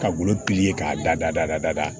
Ka golo ye k'a dada dada dada